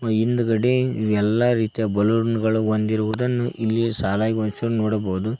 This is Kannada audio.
ಈ ಹಿಂದ್ಗಡೆ ಎಲ್ಲಾ ರೀತಿಯ ಬಲೂನ್ ಗಳನು ಹೊದಿರುವುದನ್ನು ಇಲ್ಲಿ ಸಾಲಾಗಿ ಹೊಂದಿಸಿರುದನ್ನು ನೋಡಬೋದು.